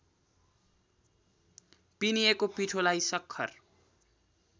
पिनिएको पिठोलाई सक्खर